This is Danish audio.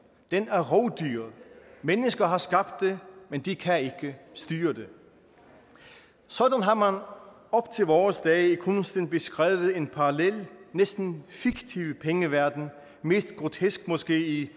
den er rovdyret mennesker har skabt det men de kan ikke styre det sådan har man op til vore dage i kunsten beskrevet en parallel næsten fiktiv pengeverden mest grotesk måske i